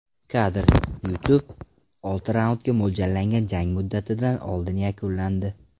Kadr: YouTube Olti raundga mo‘ljallangan jang muddatidan oldin yakunlandi.